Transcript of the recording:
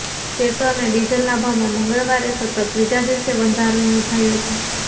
petrol અને ડીઝલના ભાવમાં મંગળવારે સતત ત્રીજા દિવસે વધારો નોંધાયો છે